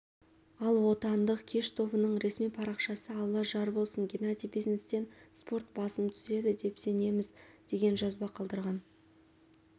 ал отандық кеш тобының ресми парақшасы алла жар болсын генадий бизнестен спорт басым түседі деп сенеміз деген жазба қалдырған